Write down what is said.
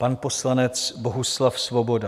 Pan poslanec Bohuslav Svoboda.